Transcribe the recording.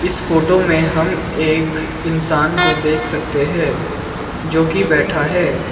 इस फोटो में हम एक इंसान को देख सकते है जो की बैठा है।